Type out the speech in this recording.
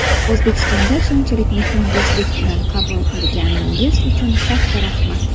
O‘zbekistonda shunchalik mehmondo‘stlik bilan qabul qilganingiz uchun katta rahmat!